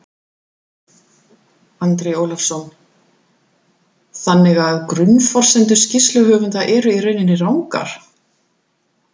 Andri Ólafsson: Þannig að grunnforsendur skýrsluhöfunda eru í rauninni rangar?